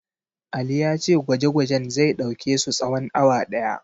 Ali ya ce gwaje-gwajen zai ɗauke su tsawon awa ɗaya.